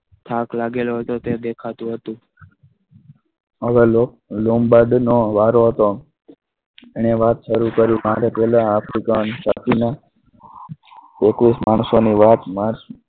થાક લાગેલો હતો તે દેખાતું હતું હવે lomgarden નો વારો હતો એને વાત શરૂ કરી આની પહેલા એકવીસ માણસોની વાત